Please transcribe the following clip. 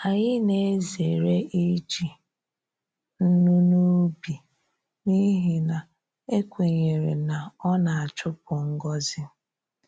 Anyị na-ezere iji nnu n’ubi n’ihi na ekwenyere na ọ na-achupu ngọzi.